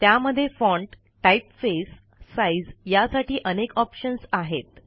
त्यामध्ये font typeface size यासाठी अनेक ऑप्शन्स आहेत